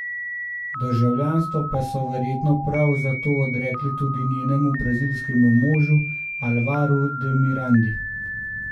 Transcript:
Državljanstvo pa so verjetno prav zato odrekli tudi njenemu brazilskemu možu Alvaru de Mirandi.